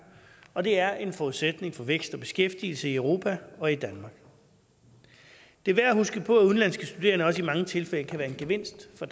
og det er en forudsætning for vækst og beskæftigelse i europa og i danmark det er værd at huske på at udenlandske studerende også i mange tilfælde kan være en gevinst for